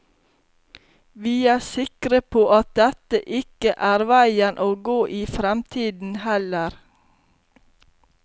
Vi er sikre på at dette ikke er veien å gå i fremtiden heller.